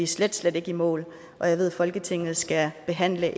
slet slet ikke i mål og jeg ved at folketinget skal behandle